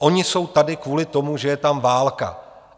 Oni jsou tady kvůli tomu, že je tam válka.